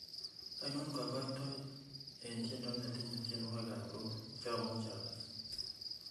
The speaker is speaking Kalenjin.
ainon kogoitoet en tiendo netinye tienwogik ab roho cheomuje agas